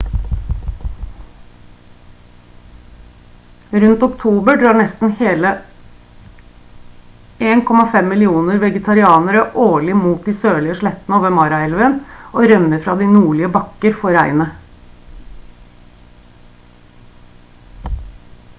rundt oktober drar nesten 1,5 millioner vegetarianere årlig mot de sørlige slettene over mara-elva og rømmer fra de nordlige bakker for regnet